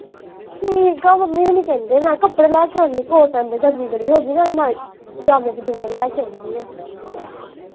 ਠੀਕ ਆ ਮੰਮੀ ਹੋਣੀ ਕਹਿੰਦੇ ਮੈਂ ਕਪੜੇ ਲੈ ਕੇ ਆਉਂਦੀ cotton ਦੇ ਨਾਲੇ night ਪਜਾਮੇ ਪਜੂਮੇ ਲੈ ਕੇ ਆਉਣੀ ਆ